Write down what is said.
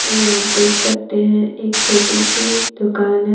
आप देख सकते हैं एक छोटी सी दुकान है।